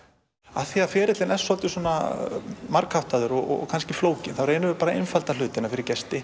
af því að ferillinn er svo margháttaður og kannski flókinn þá reynum við að einfalda þetta fyrir gesti